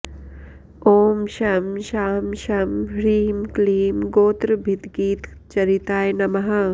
ॐ शं शां षं ह्रीं क्लीं गोत्रभिद्गीतचरिताय नमः